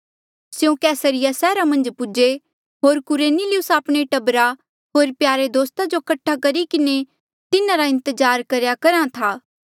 स्यों कैसरिया सैहरा मन्झ पूजे होर कुरनेलियुस आपणे टब्बरा होर प्यारे दोस्ता जो कठा करी किन्हें तिन्हारा इंतजार करेया करहा था